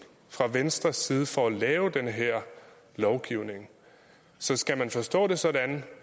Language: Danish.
fra venstres side for at lave den her lovgivning så skal vi forstå det sådan